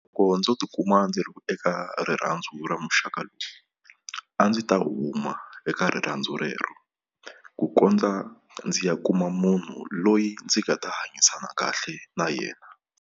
Loko ndzo tikuma ndzi ri eka rirhandzu ra muxaka a ndzi ta huma eka rirhandzu rero ku kondza ndzi ya kuma munhu loyi ndzi nga ta hanyisana kahle na yena.